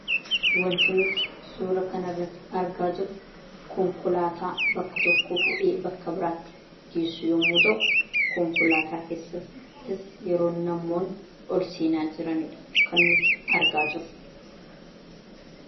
Wanti nuti suuraa kanarratti argaa irru konkolaataa bakka tokkoo fuudhee bakka biraatti geessu yommuu ta'u konkolaataa keessas yeroo namoonni olseenaa jiranidha kan nuti argaa jirru.